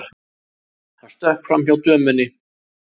Hann stökk framhjá dömunni.